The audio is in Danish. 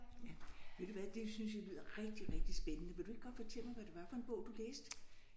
Ja ved du hvad det synes jeg lyder rigtig rigtig spændende vil du ikke godt fortælle mig hvad det var for en bog du læste?